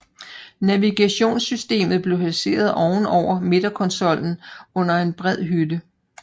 Navigationssystemet blev placeret oven over midterkonsollen under en bred hylde